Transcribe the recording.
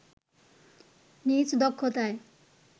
নিজ দক্ষতায়